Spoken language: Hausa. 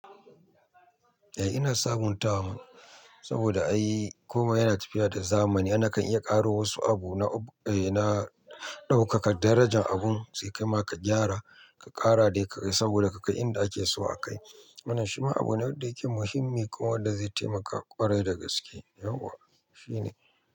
Eh ina sabuntawa, saboda ai komai yana tafiya da zamani. Ana kan iya ƙaro wasu abu na, eh na ɗaukaka darajan abun sai ka ma ka gyara ka ƙara dai ka kai saboda ka kai inda ake so a kai. Wana shi ma abu ne wanda yake muhimmi kuma wanda zai taimaka ƙwarai da gaske. Yauwa shi ne.